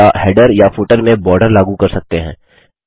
या हैडर या फुटर में बॉर्डर लागू कर सकते हैं